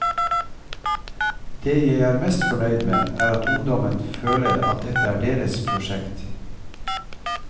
Det jeg er mest fornøyd med er at ungdommen føler at dette er deres prosjekt.